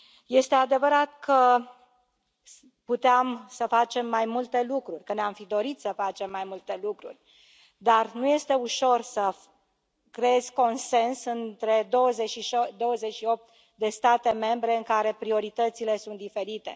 Este adevărat că puteam să facem mai multe lucruri, că ne am fi dorit să facem mai multe lucruri, dar nu este ușor să creezi consens între 28 de state membre în care prioritățile sunt diferite.